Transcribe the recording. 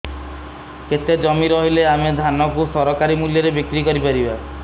କେତେ ଜମି ରହିଲେ ଆମେ ଧାନ କୁ ସରକାରୀ ମୂଲ୍ଯରେ ବିକ୍ରି କରିପାରିବା